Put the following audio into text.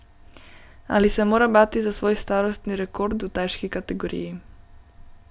Ali se mora bati za svoj starostni rekord v težki kategoriji?